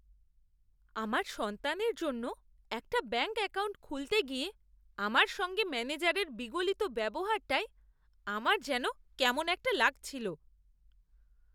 আমার সন্তানের জন্য একটা ব্যাঙ্ক অ্যাকাউন্ট খুলতে গিয়ে আমার সঙ্গে ম্যানেজারের বিগলিত ব্যবহারটায় আমার যেন কেমন একটা লাগছিল।